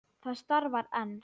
Það starfar enn.